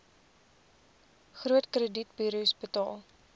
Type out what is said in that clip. groot kredietburos betaal